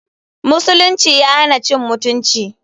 musulunci ya hana cin mutunci.